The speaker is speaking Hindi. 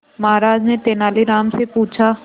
महाराज ने तेनालीराम से पूछा